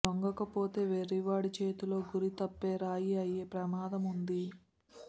లొంగకపోతే వెర్రివాడి చేతిలో గురి తప్పే రాయి అయే ప్రమాదమూ ఉంది